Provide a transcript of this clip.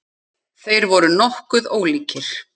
Þeir voru nokkuð ólíkir.